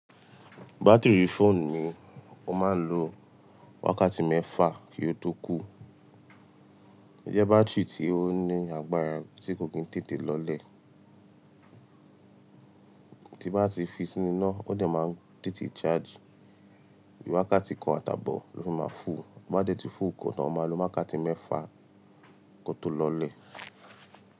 Bátìrì fóònù ni ó máa ń lo wákàtí mẹ́fà kí ó tó kú. Ǹjẹ́ bátìrì tí ó ní agbára tí kò gín tètè lọlẹ̀, tí bá ti fi sínú iná, ó dẹ máa ń tètè charge. Wákàtí kan àtàbọ̀ ló fi máa full. Bí ó bá dẹ̀ tì full tán, o máà lo wákàtí mẹ́fà kó tó lọlẹ̀